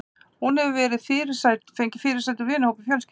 Hún hefur fengið fyrirsætur úr vinahópi fjölskyldunnar.